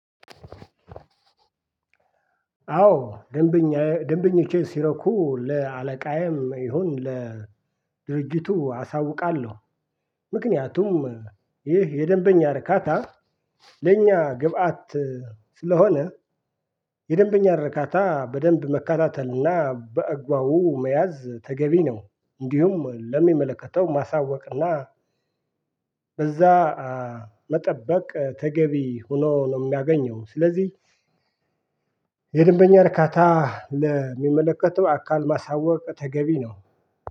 አዎ ደንብኛየ ደንብኞቼ ሲረኩ ለአለቃዬም ይሁን ለድርጅቱ አሳውቃለሁ። ምክንያቱም ይህ የደንበኛ እርካታ ለኛ ግብአት ስለሆነ የደንበኛ ርካታ በደንብ መከታተልና በአግባቡ መያዝ ተገቢ ነው። እንዲሁም ለሚመለከተው ማሳወቅና በዛ መጠበቅ ተገቢ ሁኖ ነው። ምናገኘው ስለዚህ የደንበኛ ርካታ ለሚመለከተው አካል ማሳወቅ ተገቢ ነው።